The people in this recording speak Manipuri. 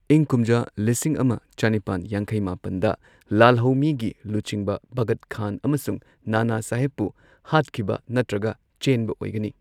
ꯏꯪ ꯀꯨꯝꯖꯥ ꯂꯤꯁꯤꯡ ꯑꯃ ꯆꯅꯤꯄꯥꯟ ꯌꯥꯡꯈꯩ ꯃꯥꯄꯟꯗ, ꯂꯥꯜꯍꯧꯃꯤꯒꯤ ꯂꯨꯆꯤꯡꯕ ꯕꯈꯠ ꯈꯥꯟ ꯑꯃꯁꯨꯡ ꯅꯥꯅ ꯁꯥꯍꯤꯞꯄꯨ ꯍꯥꯠꯈꯤꯕ ꯅꯠꯇ꯭ꯔꯒ ꯆꯦꯟꯕ ꯑꯣꯏꯒꯅꯤ꯫